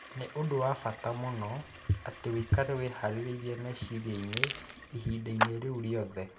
Nĩ ũndũ wa bata mũno atĩ ũikare wĩhaarĩirie meciria-inĩ ihinda-inĩ rĩu rĩothe